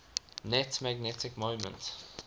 net magnetic moment